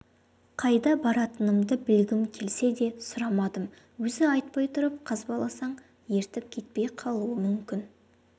қайда баратынымды білгім келсе де сұрамадым өзі айтпай тұрып қазбаласаң ертпей кетіп қалуы мүмкін